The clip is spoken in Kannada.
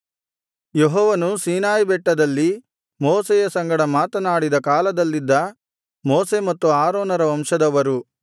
ಯೆಹೋವನು ಸೀನಾಯಿ ಬೆಟ್ಟದಲ್ಲಿ ಮೋಶೆಯ ಸಂಗಡ ಮಾತನಾಡಿದ ಕಾಲದಲ್ಲಿದ್ದ ಮೋಶೆ ಮತ್ತು ಆರೋನರ ವಂಶದವರು